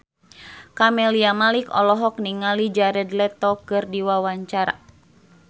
Camelia Malik olohok ningali Jared Leto keur diwawancara